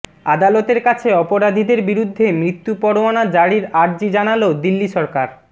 আদালতের কাছে অপরাধীদের বিরুদ্ধে মৃত্যু পরোয়ানা জারির আর্জি জানাল দিল্লি সরকার